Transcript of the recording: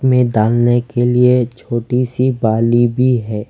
में डालने के लिए छोटी सी बाली भी है।